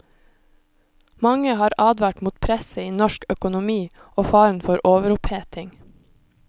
Mange har advart mot presset i norsk økonomi, og faren for overoppheting.